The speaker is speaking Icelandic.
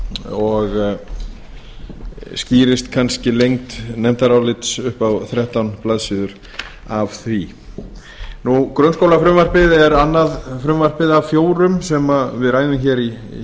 og skýrist kannski lengd nefndarálits upp á þrettán blaðsíður af því grunnskólafrumvarpið er annað frumvarpið af fjórum sem við ræðum hér í